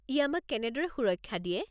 ই আমাক কেনেদৰে সুৰক্ষা দিয়ে?